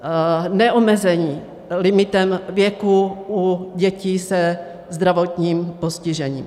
Neomezení limitem věku u dětí se zdravotním postižením.